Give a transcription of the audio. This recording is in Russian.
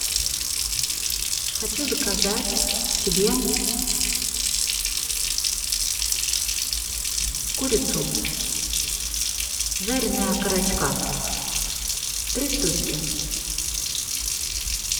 хочу заказать себе курицу жареные окорочка три штучки